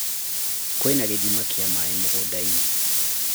kwĩna gĩthĩma kĩa maaĩ mũgũnda-inĩ